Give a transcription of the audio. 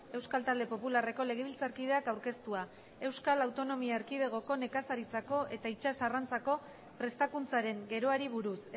euskal talde popularreko legebiltzarkideak aurkeztua euskal autonomia erkidegoko nekazaritzako eta itsas arrantzako prestakuntzaren geroari buruz